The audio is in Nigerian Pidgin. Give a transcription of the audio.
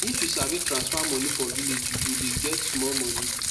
if u sabi transfer moni for village u go de get small moni